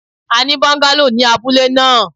A ni bungalow ni abule naa